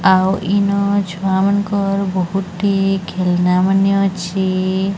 ଆଉ ଇନ ଛୁଆମାନଙ୍କର ବହୁତି ଖେଳନାମାନେ ଅଛି।